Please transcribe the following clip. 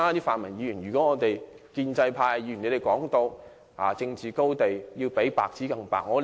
泛民議員經常說，站在政治高地的人應比白紙更白。